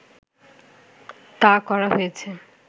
তা করা হয়েছে